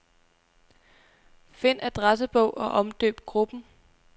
Find adressebog og omdøb gruppen.